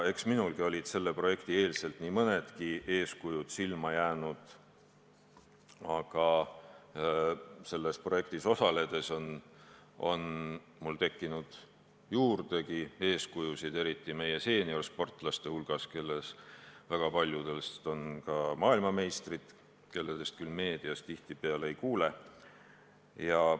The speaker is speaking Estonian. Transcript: Eks minulegi oli varem nii mõnigi eeskuju silma jäänud, aga selles projektis osaledes on mul eeskujusid juurde tekkinud, eriti meie seeniorsportlaste hulgas, kellest väga paljud on ka maailmameistrid, kellest küll meedias kuigi tihti ei kuule.